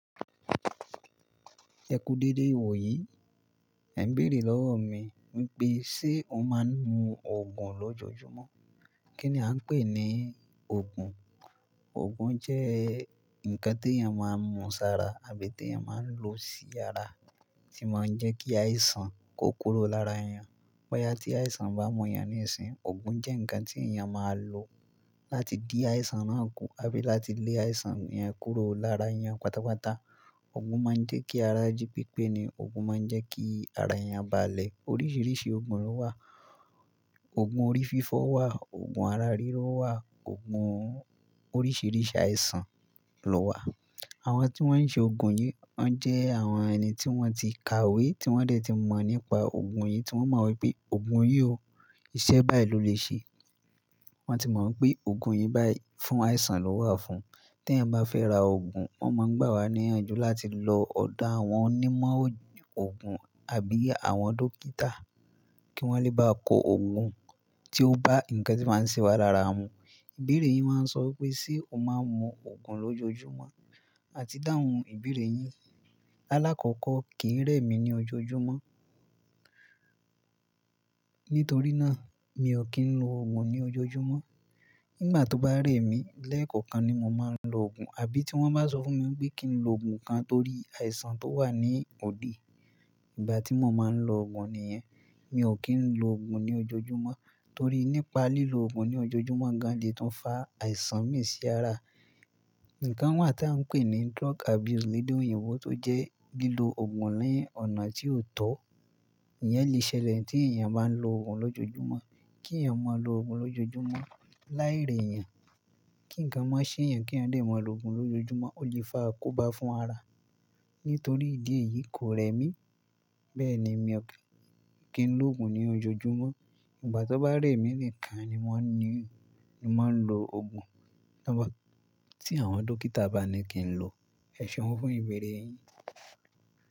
"Ẹ kú dédé wò yí". Ẹ̀gbẹ̀rẹ̀ lọ́wọ́ mi wípé, ṣe o máa ń mu Ògùn lójoojúmọ́? Kí ni a ń pè ní Ògùn? Ògùn jẹ́ nǹkan tí èèyàn máa ń mu sára tàbí tí èèyàn máa ń lo sí yára tí máa ń jẹ́ kí àìsàn kó kúrò lára èèyàn. Bóyá tí àìsàn bá mú èèyàn níìsín, ògùn jẹ́ nǹkan tí èèyàn máa ń lo láti dí àìsàn náà kù, àbí láti lé àìsàn yẹn kúrò lára èèyàn. Pátápátá, ògùn máa ń jẹ́ kí ara jí pípé ni, ògùn máa ń jẹ́ kí ara èèyàn balẹ̀. Oríṣiríṣi ògùn ló wà. Ògùn orí fífọ́ wà, ògùn ara rírọ́ wà, ògùn oríṣiríṣi àìsàn ló wà. Àwọn tí wọ́n ń ṣe ògùn yìí, wọ́n jẹ́ àwọn ẹni tí wọ́n ti kàwé, tí wọ́n dẹ̀ ti mọ̀ nípa ògùn yìí, tí wọ́n mọ̀ wípé ògùn yìí o, ìṣe báyìí ló lè ṣe. Wọ́n ti mọ̀ wípé ògùn yìí báyìí fún àìsàn ló wà fún. Tí ẹ̀ bá fẹ́ ra ògùn, wọ́n máa ń gbà wá níyànjú láti lọ ọ̀dọ̀ àwọn onímọ̀ ògùn àbí àwọn dókítà kí wọ́n lè bá ko ògùn tí ó bá ǹkan tí ó máa ń ṣẹwà lára mu. Ìbéèrè yìí máa ń sọ wípé, ṣe o máa ń mu Ògùn lójoojúmọ́? A ti dáhùn ìbéèrè yìí. Láàlákọ́kọ́ kì í rẹ mí ní ojoojúmọ́. Nítorí náà, mi ò kí ń lo ògùn ní ojoojúmọ́. Nígbà tó bá rẹ̀ mí lẹ́ẹ̀kọ̀kan ni mo máa ń lo ògùn, àbí tí wọ́n bá sọ fún mi wípé kí n lo ògùn kan torí àìsàn tó wà ní òdì. Ìgbà tí mo máa ń lo ògùn nìyẹn. Mi ò kí ń lo ògùn ní ojoojúmọ́ torí nípa lílo ògùn ní ojoojúmọ́ gan-an ni tó ń fa àìsàn mi sí yára. Ǹǹkan wà tí à ń pè ní drug abuse nídé òyìnbó tó jẹ́ bí i lo ògùn lẹ́yìn ọ̀nà tí ò tọ́. Ìyẹn le ṣẹlẹ̀ tí èèyàn bá ń lo ògùn lójoojúmọ́. Kí ẹ̀ mọ̀ ọ lo ògùn lójoojúmọ́ láì rẹ̀yàn. Kí ǹkan má ṣe èèyàn kí ẹ̀ dẹ̀ ma lo ògùn lójoojúmọ́, ó lè fa àkóbá fún ara. Nítorí ìdí èyí kò rẹ́ mí, bẹ́ẹ̀ ni mi ò kí ń lo ògùn ní ojoojúmọ́. Ìgbà tó bá rẹ̀ mi nìkan ni mo ní máa ń lo ògùn. Tí àwọn dókítà bá ní kí n lo. Ẹ̀ṣọ́ wọn fún ìbéèrè yìí.